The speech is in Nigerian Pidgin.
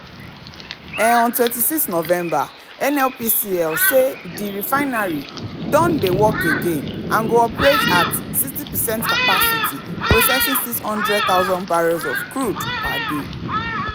um on 26 november nnpcl say di refinery don um dey work again and go operate at 60 percent capacity processing 600000 barrels of crude per day.